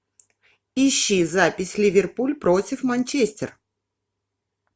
ищи запись ливерпуль против манчестер